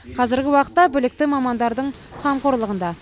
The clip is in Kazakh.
қазіргі уақытта білікті мамандардың қамқорлығында